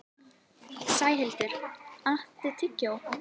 Sæhildur, áttu tyggjó?